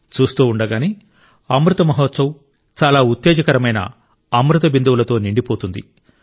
చూస్తూ ఉండగానే అమృత్ మహోత్సవ్ చాలా ఉత్తేజకరమైన అమృత బిందువులతో నిండి పోతుంది